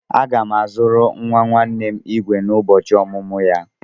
Aga m azụrụ nwa nwanne m igwe n'ụbọchị ọmụmụ ya.